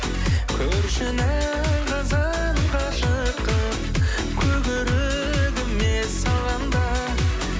көршінің қызын ғашық қылып көк өрігіме салғанда